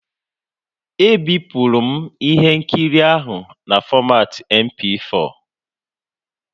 E bipuru m ihe nkiri ahụ na fọmatị MP4